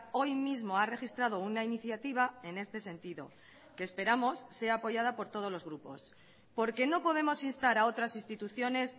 hoy mismo ha registrado una iniciativa en este sentido que esperamos sea apoyada por todos los grupos porque no podemos instar a otras instituciones